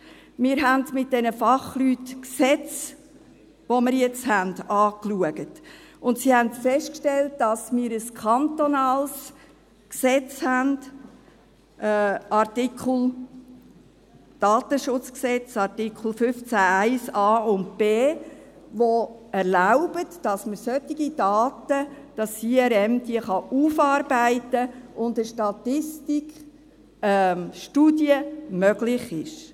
Wir haben mit diesen Fachleuten die Gesetze, die wir jetzt haben, angeschaut, und sie haben festgestellt, dass wir ein kantonales Gesetz haben, das Datenschutzgesetz (KDSG) – Artikel 15 Absatz 1 Buchstaben a und b –, das es erlaubt, dass das IRM solche Daten aufarbeiten kann, und dass eine Statistik, eine Studie, möglich ist.